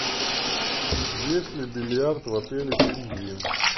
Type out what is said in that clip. есть ли бильярд в отеле пингвин